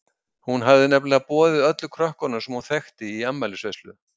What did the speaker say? Hún hafði nefnilega boðið öllum krökkum sem hún þekkti í afmælisveislu.